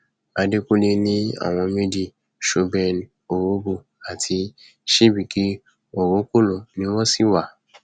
àdẹkùnlé ní àwọn méjì chuben orhobo àti chibike orokolo ni wọn sì ń wá